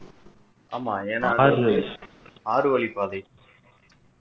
ஆமா ஏன்னா அது ஆறுவழிப்பாதை